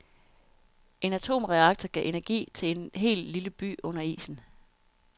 En atomreaktor gav energi til en hel lille by under isen.